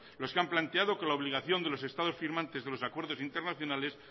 los que han planteando que la obligación de los estados firmantes de los acuerdos internacionales